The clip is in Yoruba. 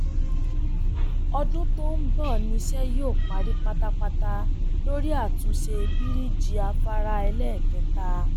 ọdún tó ń bọ níṣẹ yóò parí pátápátá lórí àtúnṣe bíríjì afárá ẹlẹẹkẹta